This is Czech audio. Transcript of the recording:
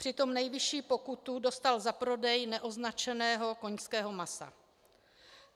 Přitom nejvyšší pokutu dostal za prodej neoznačeného koňského masa.